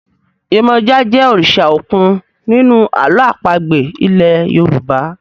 Yemoja jé òrìṣà òkun nínú àlọ́ àpagbè ilè yorùbá.